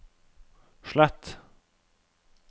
slett